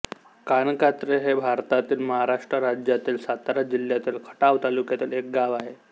कानकात्रे हे भारतातील महाराष्ट्र राज्यातील सातारा जिल्ह्यातील खटाव तालुक्यातील एक गाव आहे